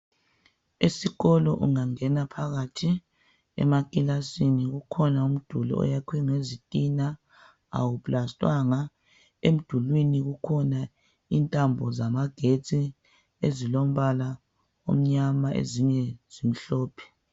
Esikolo ungangena phakathi emakilasini kukhona umduli oyakhwe ngezitina awuplastwanga . Emdulini kukhona intambo zamagetsi ezilombala omnyama ezinye zimhlophe